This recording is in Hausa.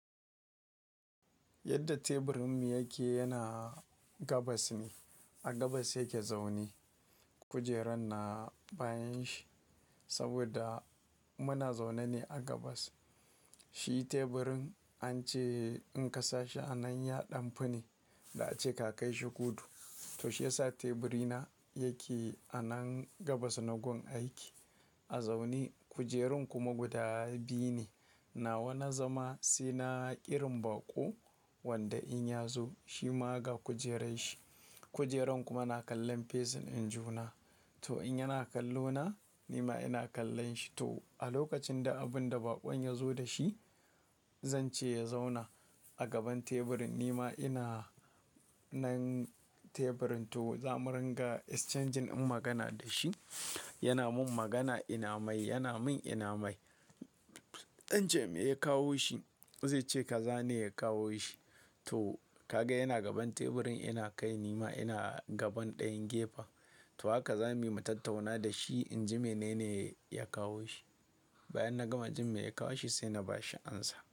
Yadda teburinmu yake yana gabas ne, a gabas yake zaune. Kujeran na bayan shi saboda muna zaune ne a gabas. Shi teburin an ce in kasa shi a nan ya ɗan fi ne da ace ka kai shi kudu. To shi yasa teburi na yake a nan gabas na gun aiki a zaune. Kujerun kuma guda biyu ne, nawa na zama sai na ƙirin baƙo wanda in ya zo shi ma ga kujerar shi. Kujeran kuma na kallon face in juna, to in yana kallo na, ni ma ina kallon shi. To a lokacin da abun da baƙon ya zo da shi, zan ce ya zauna a gaban teburin ni ma ina nan teburin, to za mu ringa exchanging magana da shi. Yana min magana ina mai, yana min ina mai. In ce me ya kawo shi, zai ce kaza ne ya kawo shi. To ka ga yana gaban teburin ina kai ni ma ina gaban ɗayan gefe. To haka za mu yi mu tattauna da shi, in ji menene ya kawo shi. Bayan na gama jin me ya kawo shi sai na ba shi amsa.